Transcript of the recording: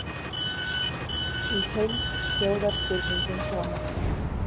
Í heild hljóðar spurningin svona: